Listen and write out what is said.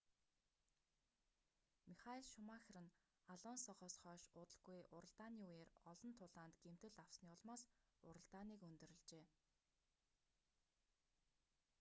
михаэль шумахер нь алонсогоос хойш удалгүй уралдааны үеэр олон тулаанд гэмтэл авсны улмаас уралдааныг өндөрлөжээ